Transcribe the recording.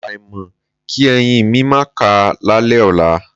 Àfàìmọ̀ kí eyín mi máà ká lálẹ́ ọ̀la.